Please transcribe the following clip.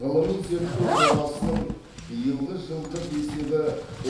ғылыми зерттеу жобасының биылғы жылдық есебі